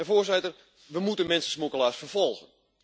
Voorzitter, we moeten mensensmokkelaars vervolgen.